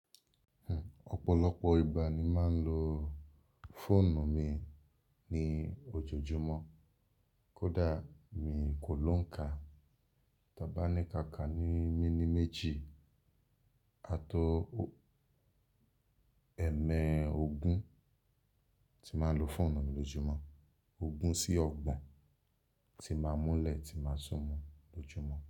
Ọ̀pọ̀lọpọ̀ ìgbà ni màá n lo fóònù mi ní ojoojúmọ́. Kódà mi kò lóǹka, tọ bá ní ká ká ní mini méjì, àtọ ẹ̀mẹ ogún tí màá lo fóònù mi lójumọ́. Ògún sí ọgbọ̀n tí màá múlẹ̀ tí màá súnmọ́ lójumọ́